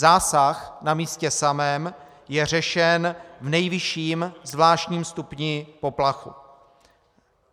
Zásah na místě samém je řešen v nejvyšším zvláštním stupni poplachu.